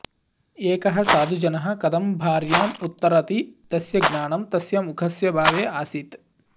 एकः साधुजनः कथं भार्याम् उत्तरति तस्य ज्ञानं तस्य मुखस्य भावे आसीत्